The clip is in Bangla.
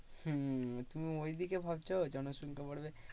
হম তুমি ঐদিকে ভাবছো জনসংখ্যা বাড়বে